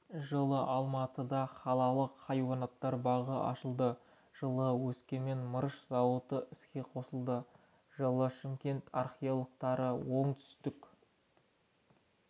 жылы алматыда қалалық хайуанаттар бағы ашылды жылы өскемен мырыш зауыты іске қосылды жылы шымкент археологтары оңтүстік